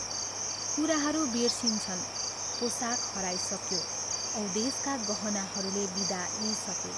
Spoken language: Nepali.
कुराहरू बिर्सिइन्छन्, पोसाक हराइसक्यो औ देशका गहनाहरूले बिदा लिइसके।